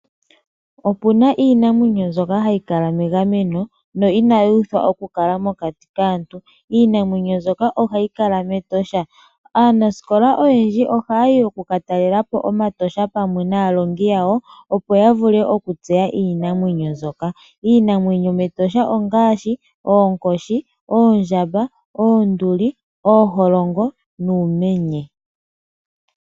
Opuna iinamwenyo mbyoka hayi kala megameno , no inayi uthwa okukala mokati kaantu . Iinamwenyo mbyoka ohayi kala mEtosha National Park . Aanasikola oyendji ohaya yi yaka tale omatosha pamwe naalongi yawo, opo yavule okutseya iinamwenyo mbyoka. Iinamwenyo yomEtosha National Park ongaashi oonkoshi, oondjamba, oonduli, uumenye nooholongo.